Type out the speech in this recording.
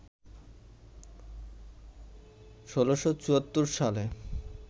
১৬৭৪ সালে